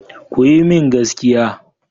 Ku yi min gaskiya.